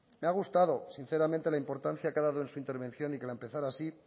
me ha gustado sinceramente la importancia que ha dado en su intervención y que la empezara así